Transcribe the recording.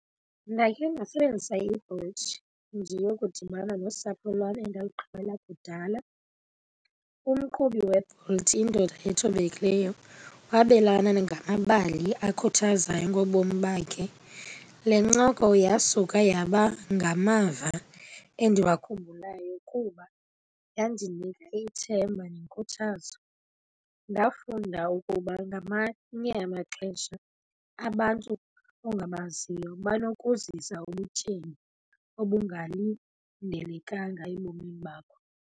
Ndakhe ndasebenzisa iBolt ndiyokudibana nosapho lwam endalugqibela kudala. Umqhubi weBolt, indoda ethobekileyo, wabelana ngamabali akhuthazayo ngobomi bakhe. Le ncoko yasuka yaba ngamava endiwakhumbulayo kuba yandinika ithemba nenkuthazo. Ndafunda ukuba ngamanye amaxesha abantu ongabaziyo banokuzisa ubutyebi obungalindelekanga ebomini bakho.